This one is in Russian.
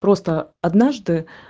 просто однажды